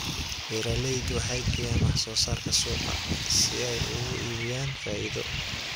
Beeraleydu waxay geeyaan wax soo saarka suuqa si ay ugu iibiyaan faa'iido.